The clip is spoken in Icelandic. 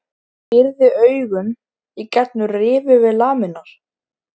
Pírði augun í gegnum rifu við lamirnar.